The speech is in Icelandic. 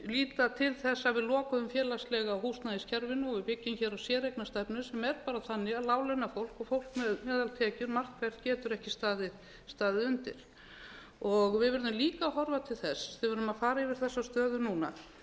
líta til þess að við lokuðum félagslega húsnæðiskerfinu og við byggjum hér á séreignarstefnu sem er bara þannig að láglaunafólk og fólk með meðaltekjur margt hvert getur ekki staðið undir við verðum líka að horfa til þess þegar við erum að fara yfir þessa stöðu núna